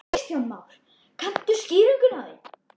Kristján Már: Kanntu skýringu á því?